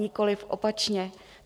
Nikoli opačně.